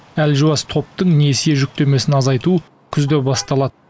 әлжуаз топтың несие жүктемесін азайту күзде басталады